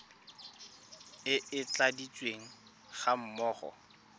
e e tladitsweng ga mmogo